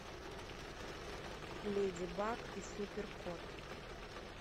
леди баг и супер кот